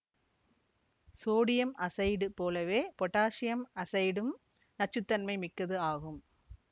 sodium azide போலவே potassium அசைடும் நச்சு தன்மை மிக்கது ஆகும்